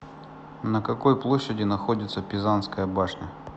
на какой площади находится пизанская башня